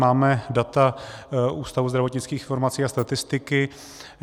Máme data Ústavu zdravotnických informací a statistiky.